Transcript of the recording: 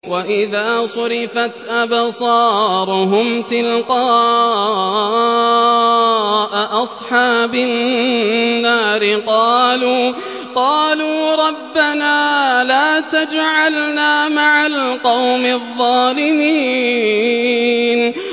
۞ وَإِذَا صُرِفَتْ أَبْصَارُهُمْ تِلْقَاءَ أَصْحَابِ النَّارِ قَالُوا رَبَّنَا لَا تَجْعَلْنَا مَعَ الْقَوْمِ الظَّالِمِينَ